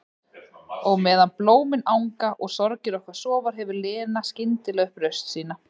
Og meðan blómin anga og sorgir okkar sofa hefur Lena skyndilega upp raust sína.